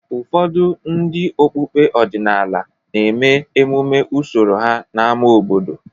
Ụfọdụ ndị okpukpe ọdịnala na-eme emume usoro ha n’ámá obodo.